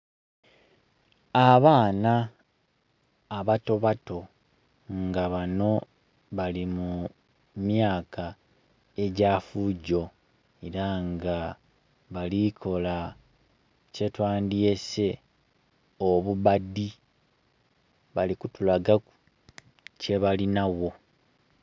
Abaana abatobato nga banho bali mu myaka egyafugyo era nga balikola kyetwandyese obubadi bali kutu lagaku kyebalinagho.